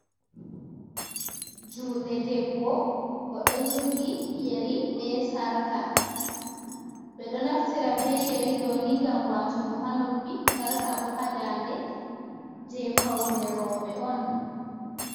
Juuɗe debbo o ɗo jogi yari bee sarka ɓe ɗo naftira bee yari ɗo ni ngam waatugo ha noppi, sarka bo haa daande jey fawne rewɓe on